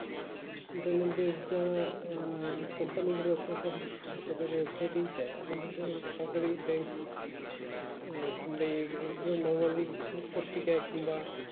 internet দে যারা আহ company গুলো একটা সব প্রতিটা website ই দেয় অথচ সরকারি bank এ কিংবা এই~এইগুলো normal পত্রিকাই কিংবা